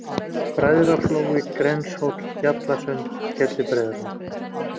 Bræðraflói, Grenshóll, Bjallasund, Skellibreiðarholt